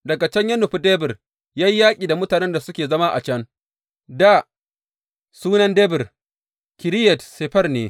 Daga can ya nufi Debir ya yi yaƙi da mutanen da suke zama a can Dā sunan Debir, Kiriyat Sefer ne.